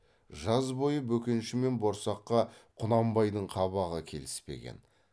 жаз бойы бөкенші мен борсаққа құнанбайдың қабағы келіспеген